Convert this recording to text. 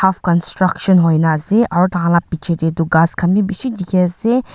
half countruction hoina ase aru tar khan laga piche te tu gass khan bhi bisi dekhi ase.